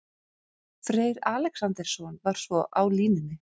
Freyr Alexandersson var svo á línunni.